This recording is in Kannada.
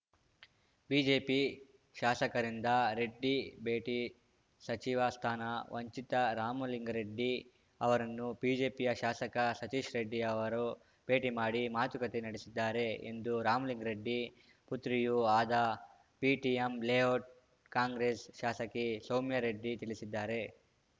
ಬಿಜೆಪಿ ಶಾಸಕರಿಂದ ರೆಡ್ಡಿ ಭೇಟಿ ಸಚಿವ ಸ್ಥಾನ ವಂಚಿತ ರಾಮಲಿಂಗಾರೆಡ್ಡಿ ಅವರನ್ನು ಬಿಜೆಪಿಯ ಶಾಸಕ ಸತೀಶ್‌ ರೆಡ್ಡಿ ಅವರು ಭೇಟಿ ಮಾಡಿ ಮಾತುಕತೆ ನಡೆಸಿದ್ದಾರೆ ಎಂದು ರಾಮಲಿಂಗಾರೆಡ್ಡಿ ಪುತ್ರಿಯೂ ಆದ ಬಿಟಿಎಂ ಲೇಔಟ್‌ ಕಾಂಗ್ರೆಸ್‌ ಶಾಸಕಿ ಸೌಮ್ಯಾ ರೆಡ್ಡಿ ತಿಳಿಸಿದ್ದಾರೆ